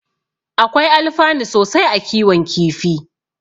Akwai alfanu sosai a kiwon kifi.